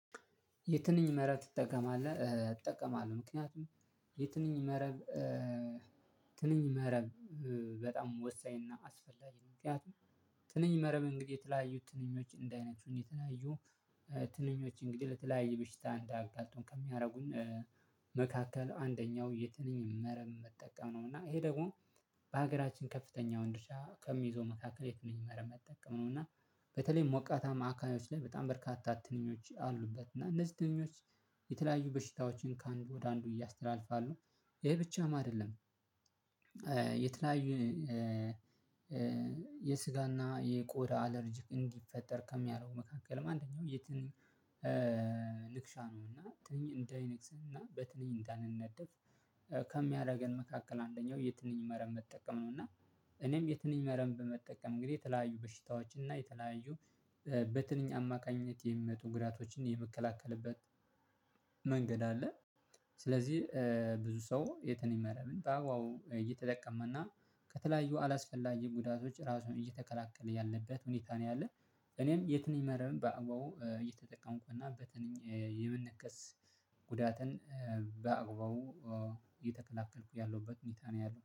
የትንኝ መረብ ትጠቀማለህ እጠቀማለሁ። ምክንያቱም የትንኝ መረብ ትንኝ መረብ በጣም ወሳኝና አስፈላጊ ምክንያቱም ትንኝ መረብ እንግዲህ የተለያዩ ትንኞች እንዳይነክሱን የተለያዩ ትንኞች እንግዲህ ለተለያዩ ብሽታ እንዳያጋጥሙ ከሚያደርጉኝ መካከል አንደኛው የትንኝ መረብ መጠቀም ነው። እና ይሄ ደግሞ በሀገራችን ከፍተኛውን ድርሻ ከሚይዘው መካከል የትንኝ መረብ መጠቀም ነው እና በተለይ ሞቃታማ አካባቢዎች ላይ በጣም በርካታ ትንኞች አሉበት እና እነዚህ ትንኞች የተለያዩ በሽታዎችን ከአንዱ ወደ አንዱ እያስተላልፋሉ። ይሄ ብቻም አይደለም የተለያዩ የስጋና የቆዳ አለርጂክ እንዲፈጠር ከሚያደርገው መካከልም አንደኛው የትንኝ ንክሻ ነው። እና ትንኝ እንዳይነክሰን እና በትንኝ እንዳንነደፍ ከሚያደርገን መካከል አንደኛው የትንኝ መረብ መጠቀም ነው። እና እኔም የትንኝ መረብ በመጠቀም እንግዲህ የተለያዩ በሽታዎች እና የተለያዩ በትንኛ አማካኝነት የሚመጡ ጉዳቶችን የሚከላከልበት መንገድ አለ። ስለዚህ ብዙ ሰው የትንኝ መረብን በአግባቡ እየተጠቀመና ከተለያዩ አላስፈላጊ ጉዳቶች ራሱን እየተከላከለ ያለበት ሁኔታ ነው ያለ። እኔም የትንኝ መረብ በአግባው እየተጠቀምኩ እና በትንኝ የመነከስጉዳትን በአግባቡ እየተከላከልኩ ያለሁበት ሁኔታ ነው ያለው